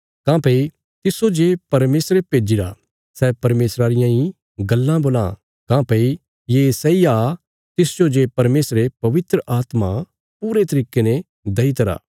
काँह्भई तिस्सो जे परमेशरे भेज्जीरा सै परमेशरा रियां इ गल्लां बोलां काँह्भई ये सैई आ तिसजो जे परमेशरे पवित्र आत्मा पूरे तरिके ने देई दित्तिरा